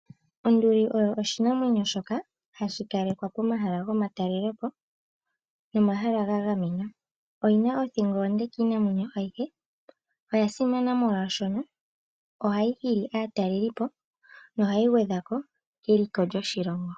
Onduli oyo oshinamwenyo shoka hashi kalekwa pomahala gomatalelopo nomahala ga gamenwa. Oyi na othingo onde kiinamwenyo ayihe. Oya simana molwaashono ohayi hili aatalelipo nohayi gwedha ko keliko lyoshilongo.